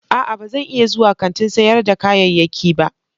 A'a ba zan iya zuwa kantin sayar da kayayyaki ba.